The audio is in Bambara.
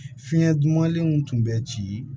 Fiɲɛ dumanlenw tun bɛ ci